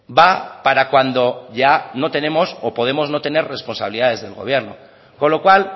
va para cuando ya no tenemos o podemos no tener responsabilidades del gobierno con lo cual